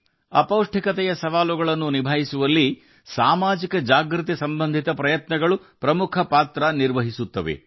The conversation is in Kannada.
ಅಪೌಷ್ಟಿಕತೆಯ ಸವಾಲುಗಳನ್ನು ಎದುರಿಸುವಲ್ಲಿ ಸಾಮಾಜಿಕ ಜಾಗೃತಿಯ ಪ್ರಯತ್ನಗಳು ಪ್ರಮುಖ ಪಾತ್ರವಹಿಸುತ್ತವೆ